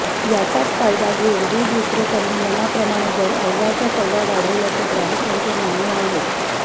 याचाच फायदा घेऊन दूध विक्रेत्यांनी मनाप्रमाणे दर अव्वाच्या सव्वा वाढवल्याचे ग्राहकांचे म्हणणे आहे